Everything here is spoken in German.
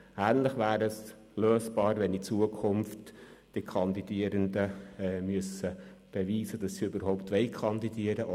Ähnlich wäre in Zukunft das Problem lösbar, indem die Kandidierenden beweisen müssen, dass sie überhaupt kandidieren wollen: